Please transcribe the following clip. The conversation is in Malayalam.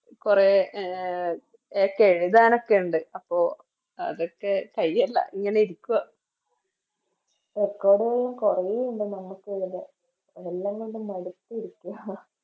കൊറ അഹ് ചെ എഴുതാനൊക്കെ ഉണ്ട് അപ്പൊ അതൊക്കെ കയ്യല്ല ഇങ്ങനെ ഇരിക്കുവാ Record കൊറേ ഇണ്ട് നമക്ക് എഴുതാൻ അതെല്ലാം കൊണ്ട് മടുത്തിരിക്കുവാ